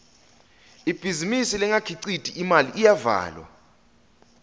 ibhizinisi lengakhiciti imali iyavalwa